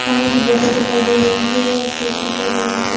पानी की बोतल दिखाई दे रही है खिड़की दिखाई दे रही है।